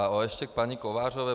A ještě k paní Kovářové.